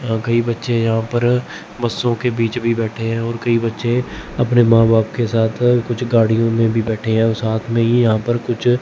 अं कई बच्चे यहां पर बस्सों के बीच भी बैठे हैं और बच्चे अपने मां बाप के साथ कुछ गाड़ियों में भी बैठे हैं और साथ में ही यहां पर कुछ --